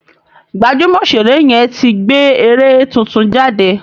Gbajúmọ̀ Òṣèré yẹn ti gbé eré tuntun jáde